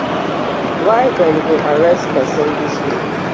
why dem go arrest pesin dis way